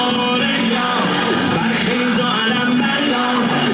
Bəxtiyarlıq Əli!